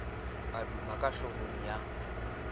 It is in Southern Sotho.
e duma ka hlohong ya